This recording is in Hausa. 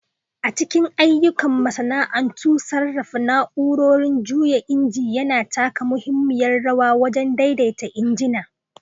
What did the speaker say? A cikin ayyukan masana'antu, sarrafa na'urorin juya inji yana taka muhimmiyar rawa wajen daidaita injina.